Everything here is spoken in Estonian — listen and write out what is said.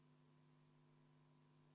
Aitäh, lugupeetud istungi juhataja!